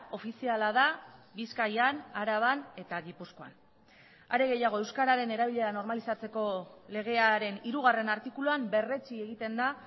ofiziala da bizkaian araban eta gipuzkoan are gehiago euskararen erabilera normalizatzeko legearen hirugarren artikuluan berretsi egiten da